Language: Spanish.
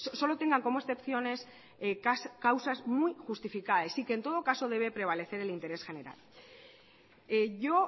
solo tengan como excepciones causas muy justificadas y que en todo caso debe prevalecer el interés general yo